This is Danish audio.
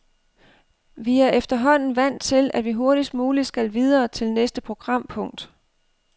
Vi er efterhånden vant til, at vi hurtigst muligt skal videre til næste programpunkt.